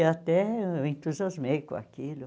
E até eu entusiasmei com aquilo.